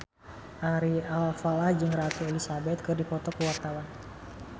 Ari Alfalah jeung Ratu Elizabeth keur dipoto ku wartawan